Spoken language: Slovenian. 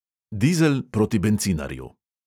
Dizel proti bencinarju.